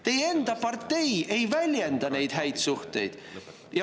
Teie enda partei ei väljenda neid häid suhteid.